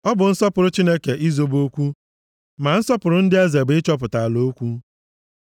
Ọ bụ nsọpụrụ Chineke izobe okwu, ma nsọpụrụ ndị eze bụ ịchọpụta ala okwu.